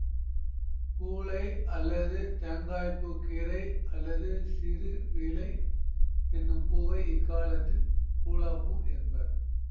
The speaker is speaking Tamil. பூளை அல்லது தேங்காய்ப்பூக் கீரை அல்லது சிறுபீளை என்னும் பூவை இக்காலத்தில் பூளாப்பூ என்பர்